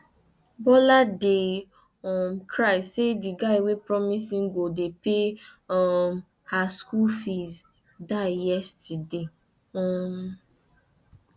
bola dey um cry say the guy wey promise im go dey pay um her school fees die yesterday um